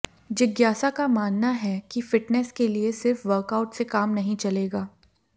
जिज्ञासा का मानना है कि फिटनेस के लिए सिर्फ वर्कआउट से काम नहीं चलेगा